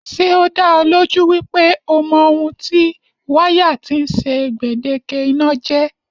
Ṣé o da ọ lójú wípé o mọ ohun tí wáyà tí ń ṣe gbèdéke iná jẹ́?